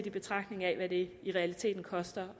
i betragtning af hvad det i realiteten koster